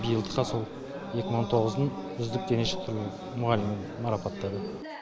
биылдыққа сол екі мың он тоғыздың үздік дене шынықтыру мұғалімімін марапаттады